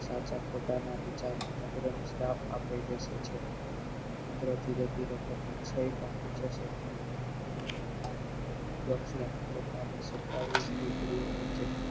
સાચા ખોટા ના વિચાર ને ચંદ્ર ને શ્રાપ આપી બેસે છે ચંદ્ર થી ઈચ્છે છે દક્ષ ને પોતાની સતાવીશ દીકરી ઓ વચે